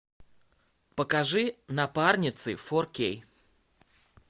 покажи напарницы фор кей